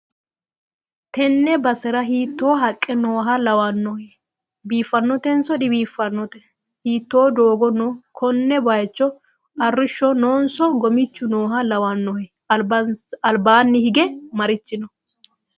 tenne basera hiitto haqqe nooha lawannohe? biiffannotenso dibiiffannote? hiitto doogo no konne bayicho? arrishhso noonso gommichu nooha lawannohe? albaanni hige marichi no?